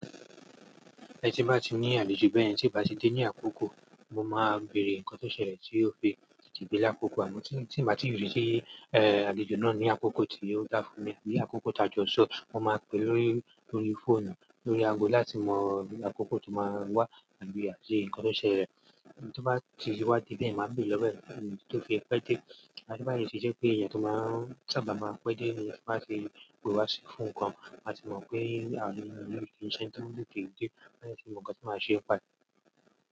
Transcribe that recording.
Ẹni tí bá ti ní àlejò bẹ́ẹ̀, tí bá ti dé ní àkókò, mo máa béèrè nǹkan tó ṣẹlẹ̀ tí ó fi tètè dé ní àkókò a mon tí mo tí ì bá ti rí tí ẹ àlejò náà ní àkókò tí ó dá fún mi, àbí àkókò ìtajo ṣọ́, mo máa pè é lórí, lórí fóònù, lórí ago láti mọ àkókò tó máa wá àbí àṣé ǹkan tó ṣẹlẹ̀. Tí ó bá ti wá dé bẹ́ẹ̀, màá béèrè lọ́wo ẹ́ ido tó fẹ́ pé dé. A sì bá yí ṣiṣẹ́ pé ẹyan tó máa ń sábà máa ń pẹ́ déni tan ba ti pe wá sí fún nǹkan, màá mọ̀ pé àáni ki sẹni to tete de maa dẹ tí mon ǹkan tí máa ṣe npae.